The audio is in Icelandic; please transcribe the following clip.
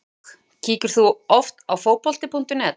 OK Kíkir þú oft á Fótbolti.net?